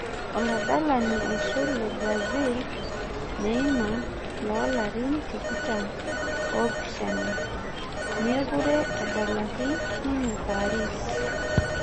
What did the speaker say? Oladalani oisul lebrasil neima loolarin tikitam oopishana mekure edelaaki ninye paris